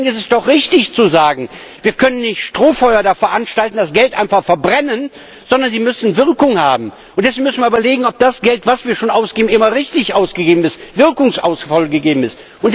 Deswegen ist es doch richtig zu sagen, wir können kein Strohfeuer veranstalten, das Geld einfach verbrennen, sondern es muss Wirkung haben. Deswegen müssen wir überlegen, ob das Geld, das wir schon ausgeben, immer richtig und wirkungsvoll ausgegeben ist.